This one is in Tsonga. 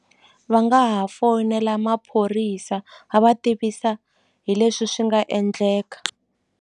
Va nga ha foyinela maphorisa va va tivisa hi leswi swi nga endleka.